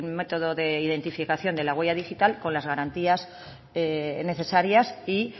método de identificación de la huella digital con las garantías necesarias y